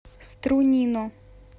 струнино